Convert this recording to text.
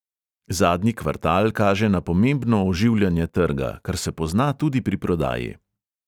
Zadnji kvartal kaže na pomembno oživljanje trga, kar se pozna tudi pri prodaji.